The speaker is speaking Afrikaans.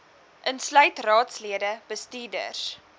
insluit raadslede bestuurders